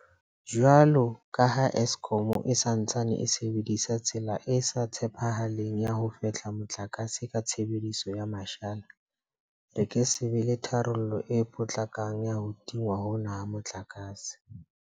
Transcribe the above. Jwalo ka ha Eskom e sa ntsaneng e sebedisa tsela e sa tshepahaleng ya ho fehla motlakase ka tshebediso ya mashala, re ke se be le tharollo e potlakang ya ho tingwa hona ha motlakase.